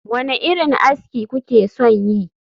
Wane irin aski kuke son yi?